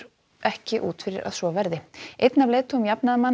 ekki út fyrir að svo verði einn af leiðtogum jafnaðarmanna